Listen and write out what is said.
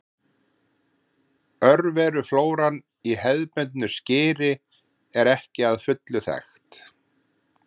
Örveruflóran í hefðbundnu skyri er ekki að fullu þekkt.